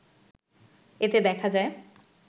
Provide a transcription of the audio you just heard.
এতে দেখা যায়